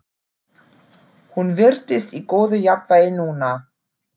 Hún virtist í góðu jafnvægi núna.